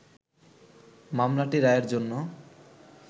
মামলাটি রায়ের জন্য